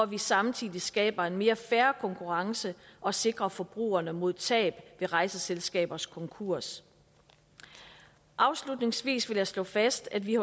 vi samtidig skaber en mere fair konkurrence og sikrer forbrugerne mod tab ved rejseselskabers konkurs afslutningsvis vil jeg slå fast at vi